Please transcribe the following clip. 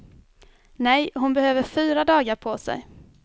Nej, hon behöver fyra dagar på sig.